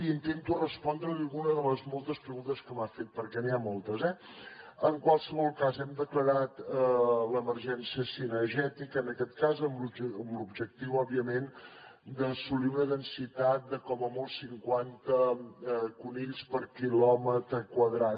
i intento respondre li alguna de les moltes preguntes que m’ha fet perquè n’hi ha moltes eh en qualsevol cas hem declarat l’emergència cinegètica en aquest cas amb l’objectiu òbviament d’assolir una densitat de com a molt cinquanta conills per quilòmetre quadrat